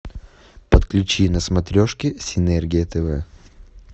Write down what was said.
подключи на смотрешке синергия тв